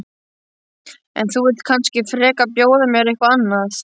En þú vilt kannski frekar bjóða mér eitthvað annað?